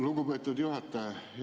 Lugupeetud juhataja!